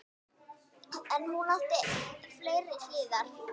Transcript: En hún átti fleiri hliðar.